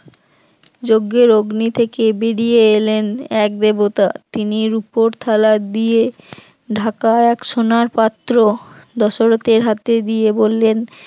যজ্ঞের অগ্নি থেকে বেরিয়ে এলেন এক দেবতা, তিনি রুপোর থালা দিয়ে ঢাকা এক সোনার পাত্র দশরথের হাতে দিয়ে বললেন